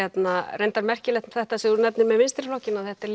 reyndar merkilegt þetta sem þú nefnir með vinstri flokkinn að þetta